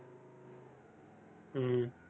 ஹம்